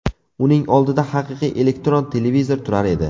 Uning oldida haqiqiy elektron televizor turar edi.